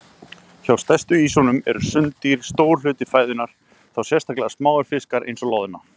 Hjá stærstu ýsunum eru sunddýr stór hluti fæðunnar, þá sérstaklega smáir fiskar eins og loðna.